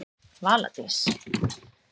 Vala Dís.